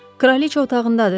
Kraliçə otağındadır?